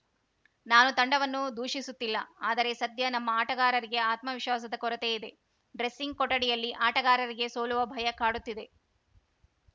ನಾನು ತಂಡವನ್ನು ದೂಷಿಸುತ್ತಿಲ್ಲ ಆದರೆ ಸದ್ಯ ನಮ್ಮ ಆಟಗಾರರಿಗೆ ಆತ್ಮವಿಶ್ವಾಸದ ಕೊರತೆ ಇದೆ ಡ್ರೆಸ್ಸಿಂಗ್‌ ಕೊಠಡಿಯಲ್ಲಿ ಆಟಗಾರರಿಗೆ ಸೋಲುವ ಭಯ ಕಾಡುತ್ತಿದೆ